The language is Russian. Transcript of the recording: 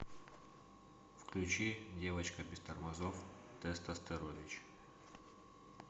включи девочка без тормозов тестостерович